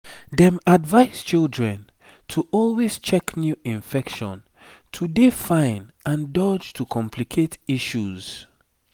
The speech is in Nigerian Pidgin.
dem advise children to always check new infection to dey fine and dodge to complicate issues